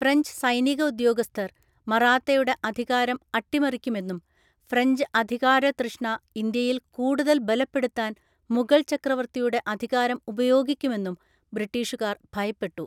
French സൈനിക ഉദ്യോഗസ്ഥർ മറാത്തയുടെ അധികാരം അട്ടിമറിക്കുമെന്നും ഫ്രഞ്ച് അധികാരതൃഷ്ണ ഇന്ത്യയിൽ കൂടുതൽ ബലപ്പെടുത്താന്‍ മുഗൾ ചക്രവർത്തിയുടെ അധികാരം ഉപയോഗിക്കുമെന്നും ബ്രിട്ടീഷുകാർ ഭയപ്പെട്ടു.